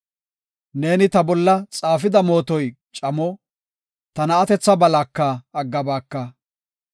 Neeni ta bolla xaafida mootoy camo; ta na7atetha balaka aggabaaka.